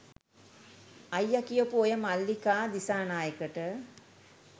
අයිය කියපු ඔය මල්ලිකා දිසානායකට